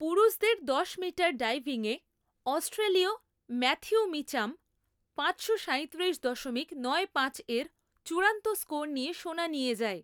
পুরুষদের দশ মিটার ডাইভিংয়ে অস্ট্রেলীয় ম্যাথিউ মিচ্যাম পাঁচশো সাঁইতিরিশ দশমিক নয় পাঁচের চূড়ান্ত স্কোর নিয়ে সোনা নিয়ে যায়।